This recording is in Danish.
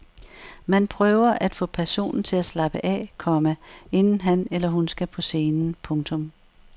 Man prøver at få personen til at slappe af, komma inden han eller hun skal på scenen. punktum